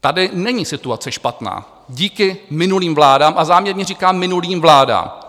Tady není situace špatná díky minulým vládám, a záměrně říkám minulým vládám.